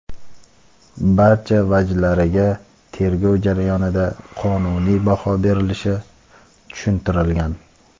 barcha vajlariga tergov jarayonida qonuniy baho berilishi tushuntirilgan.